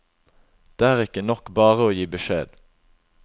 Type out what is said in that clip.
Det er ikke nok bare å gi beskjed.